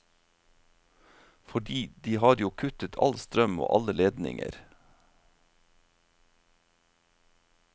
Fordi de har jo kuttet all strøm og alle ledninger.